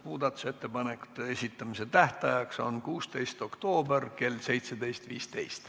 Muudatusettepanekute esitamise tähtaeg on 16. oktoober kell 17.15.